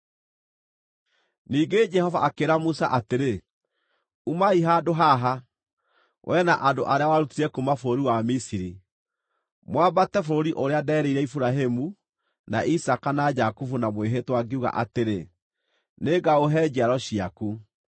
Ningĩ Jehova akĩĩra Musa atĩrĩ, “Umai handũ haha, wee na andũ arĩa warutire kuuma bũrũri wa Misiri, mwambate bũrũri ũrĩa nderĩire Iburahĩmu, na Isaaka na Jakubu na mwĩhĩtwa ngiuga atĩrĩ, ‘Nĩngaũhe njiaro ciaku.’